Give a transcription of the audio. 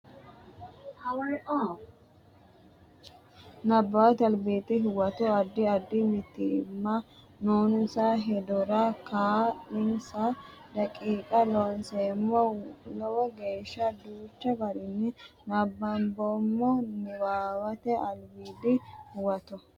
Nabbawate Albiidi Huwato Addi addi mitiimma noonsa heedhuro kaa linsa daqiiqa Looseemmo lowo geeshsha danchu garinni nabbamboommo Nabbawate Albiidi Huwato.